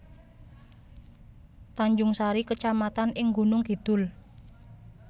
Tanjungsari kecamatan ing Gunung Kidul